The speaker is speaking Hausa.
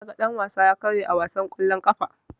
Naga dan-wasa ya karye a wasan kwallon ƙafa.